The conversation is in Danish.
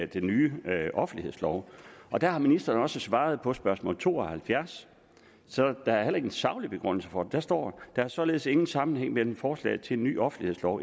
den nye offentlighedslov og der har ministeren også svaret på spørgsmål to og halvfjerds så der er heller ingen saglig begrundelse for det der står der er således ingen sammenhæng mellem forslaget til en ny offentlighedslov